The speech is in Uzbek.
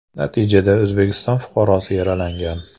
Natijada O‘zbekiston fuqarosi yaralangan.